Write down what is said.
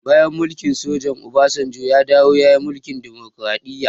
Bayan mulkin soja, obasanjo ya dawo ya yi mulkin demokraɗiya